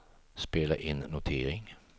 spela in notering